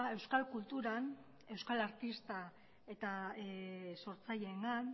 euskal kulturan euskal artista eta sortzaileengan